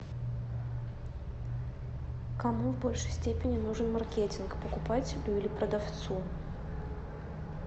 кому в большей степени нужен маркетинг покупателю или продавцу